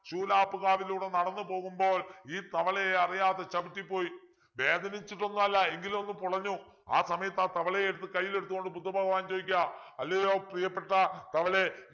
ശൂലാപ്പ്‌കാവിലൂടെ നടന്നു പോകുമ്പോൾ ഈ തവളയെ അറിയാതെ ചവിട്ടിപ്പോയി വേദനിച്ചിട്ടൊന്നും അല്ല എങ്കിലും ഒന്ന് പുളഞ്ഞു ആ സമയത്ത് ആ തവളയെ എടുത്ത് കയ്യിലെടുത്തുകൊണ്ട് ബുദ്ധഭഗവാൻ ചോദിക്കാ അല്ലയോ പ്രീയപ്പെട്ട തവളെ